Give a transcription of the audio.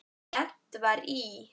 Lent var í